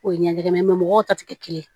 O ye ɲɛgɛn mɔgɔw ta tɛ kelen ye